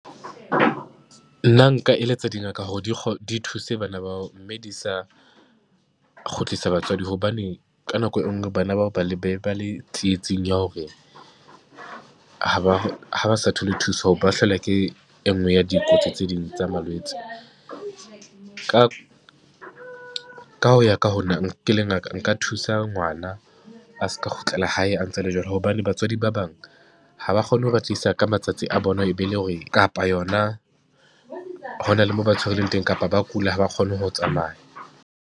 Nna nka eletsa dingaka hore di di thuse bana bao, mme di sa kgutlisa batswadi hobane ka nako e nngwe bana bao ba le, be ba le tsietsing ya hore ha ba ha ba sa thole thuso ba hlaelwa ke e nngwe ya dikotsi tse ding tsa malwetse. Ka ka ho ya ka ho nna ke le ngaka, nka thusa ngwana a se ka kgutlela hae a ntse a le jwalo hobane batswadi ba bang ha ba kgone ho ba tlisa ka matsatsi a bona, e be le hore kapa yona hona le mo ba tshwareleng teng kapa ba kula, ha ba kgone ho tsamaya.